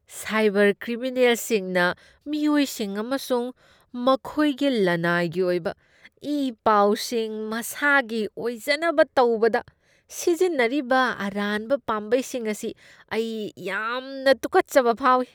Cyber ꯀ꯭ꯔꯤꯃꯤꯅꯦꯜꯁꯤꯡꯅ ꯃꯤꯑꯣꯏꯁꯤꯡ ꯑꯃꯁꯨꯡ ꯃꯈꯣꯏꯒꯤ ꯂꯅꯥꯏꯒꯤ ꯑꯣꯏꯕ ꯏ ꯄꯥꯎꯁꯤꯡ ꯃꯁꯥꯒꯤ ꯑꯣꯏꯖꯅꯕ ꯇꯧꯕꯗ ꯁꯤꯖꯤꯟꯅꯔꯤꯕ ꯑꯔꯥꯟꯕ ꯄꯥꯝꯕꯩꯁꯤꯡ ꯑꯁꯤ ꯑꯩ ꯌꯥꯝꯅ ꯇꯨꯀꯠꯆꯕ ꯐꯥꯎꯏ꯫